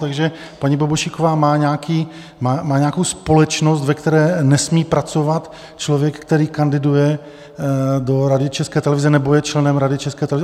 Takže paní Bobošíková má nějakou společnost, ve které nesmí pracovat člověk, který kandiduje do Rady České televize nebo je členem Rady České televize.